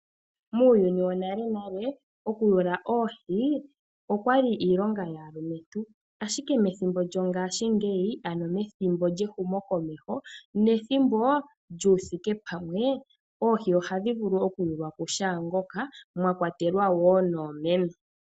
Muuyuni wonale nale oku yula oohi okwa li iilonga yaalumentu, ashike methimbo lyongashingeyi, ano methimbo lyehumo komeho nethimbo lyuuthike pamwe, oohi oha dhi vulu oku yulwa ku shaangoka, mwakwatelwa woo noomeme.